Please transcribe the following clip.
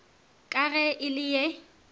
ka ge e le ye